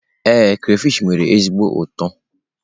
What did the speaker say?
Ee, crayfish nwere ezigbo ụtọ.